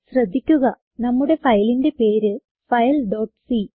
ശ്രദ്ധിക്കുക നമ്മുടെ ഫയലിന്റെ പേര് fileസി